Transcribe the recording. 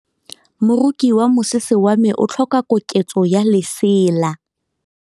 Moroki wa mosese wa me o tlhoka koketsô ya lesela.